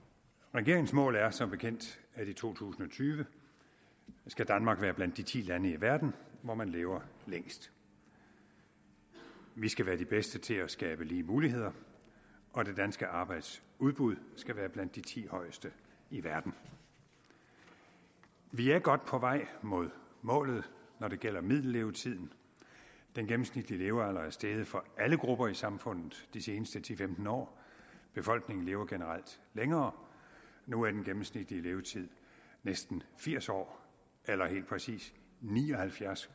regeringens mål er som bekendt at i to tusind og tyve skal danmark være blandt de ti lande i verden hvor man lever længst vi skal være de bedste til at skabe lige muligheder og det danske arbejdsudbud skal være blandt de ti højeste i verden vi er godt på vej mod målet når det gælder middellevetiden den gennemsnitlige levealder er steget for alle grupper i samfundet de seneste ti til femten år befolkningen lever generelt længere nu er den gennemsnitlige levetid næsten firs år eller helt præcis ni og halvfjerds